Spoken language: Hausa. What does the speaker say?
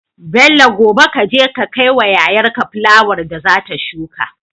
Bello gobe kaje ka kai wa yayar ka fulawar da zata shuka